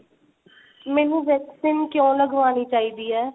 ਮੈਨੂੰ vaccine ਕਿਉਂ ਲਗਵਾਣੀ ਚਾਹੀਦੀ ਏ